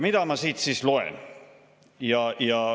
Mida ma siit siis loen?